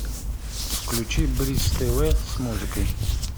включи бридж тв с музыкой